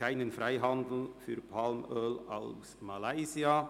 «Kein Freihandel für Palmöl aus Malaysia».